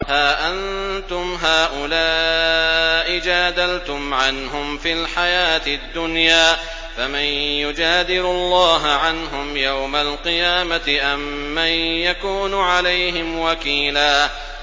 هَا أَنتُمْ هَٰؤُلَاءِ جَادَلْتُمْ عَنْهُمْ فِي الْحَيَاةِ الدُّنْيَا فَمَن يُجَادِلُ اللَّهَ عَنْهُمْ يَوْمَ الْقِيَامَةِ أَم مَّن يَكُونُ عَلَيْهِمْ وَكِيلًا